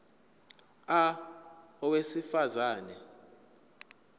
a owesifaz ane